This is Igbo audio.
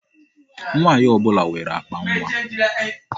Nwaanyị ọbụla nwere akpa nwa.